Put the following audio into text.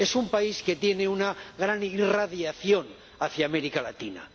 Es un país que tiene una gran irradiación hacia América Latina.